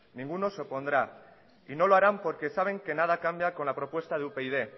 ninguno se opondrá y no lo harán porque saben que nadie cambia con la propuesta de upyd